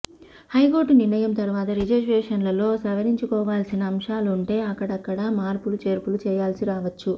high court నిర్ణయం తరువాత రిజర్వేషన్లలో సవరించుకోవాల్సిన అంశాలుంటే అక్కడక్కడా మార్పులు చేర్పులు చేయాల్సి రావచ్చు